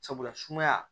Sabula sumaya